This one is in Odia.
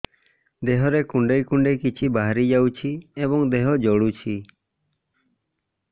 ଦେହରେ କୁଣ୍ଡେଇ କୁଣ୍ଡେଇ କିଛି ବାହାରି ଯାଉଛି ଏବଂ ଦେହ ଜଳୁଛି